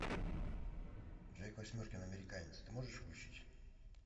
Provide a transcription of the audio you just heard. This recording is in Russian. джек восьмеркин американец ты можешь включить